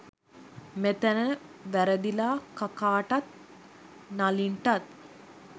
මෙතැන වැරදිලා කකාටත් නලින්ටත්